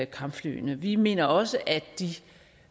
kampflyene vi mener også